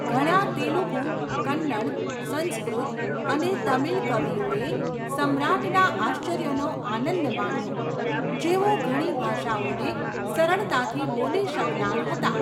ઘણા તેલુગુ, કન્નડ, સંસ્કૃત અને તમિલ કવિઓએ સમ્રાટના આશ્રયનો આનંદ માણ્યો, જેઓ ઘણી ભાષાઓને સરળતાથી બોલી શકનાર હતા.